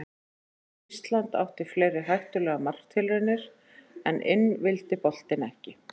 Ísland átti fleiri hættulegar marktilraunir en inn vildi boltinn ekki.